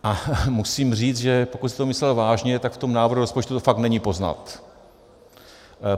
A musím říct, že pokud jste to myslel vážně, tak v tom návrhu rozpočtu to fakt není poznat.